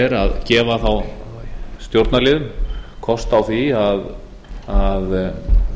er að gefa þá stjórnarliðum kost á því að